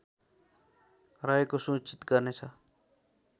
रहेको सुनिश्चित गर्नेछ